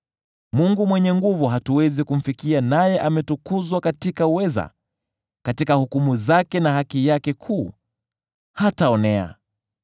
Yeye Mwenyezi hatuwezi kumfikia, naye ametukuzwa katika uweza; katika hukumu zake na haki yake kuu, hataonea.